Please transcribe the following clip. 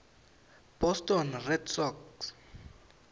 boston red sox